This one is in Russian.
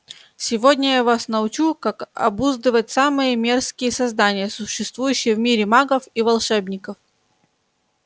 сегодня я вас научу как обуздывать самые мерзкие создания существующие в мире магов и волшебников